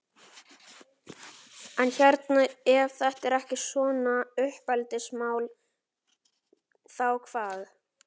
En hérna ef þetta er ekki svona uppeldismál, þá hvað?